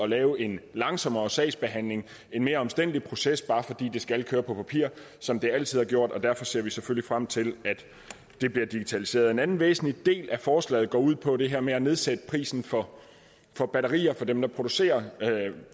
lave en langsommere sagsbehandling en mere omstændelig proces bare fordi det skal køre på papir som det altid har gjort derfor ser vi selvfølgelig frem til at det bliver digitaliseret en anden væsentlig del af forslaget går ud på det her med at nedsætte prisen for for batterier for dem der producerer